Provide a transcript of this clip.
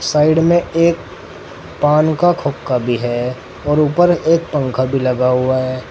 Side में एक पान खोखा भी है और ऊपर एक पंखा भी लगा हुआ है।